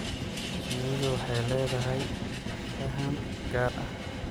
Shinnidu waxay leedahay faham gaar ah.